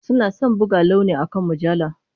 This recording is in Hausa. Suna son buga launi akan mujallar.